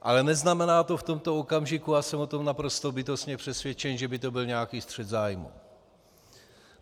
Ale neznamená to v tomto okamžiku, a jsem o tom naprosto bytostně přesvědčen, že by to byl nějaký střet zájmů.